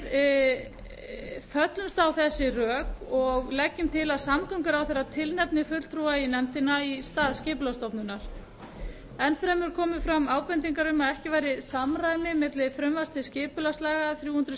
fellst meiri hlutinn á þau rök og leggur til að samgönguráðherra tilnefni fulltrúa í nefndin í stað skipulagsstofnunar enn fremur komu fram ábendingar um að ekki væri samræmi milli frumvarps til skipulagslaga þrjú hundruð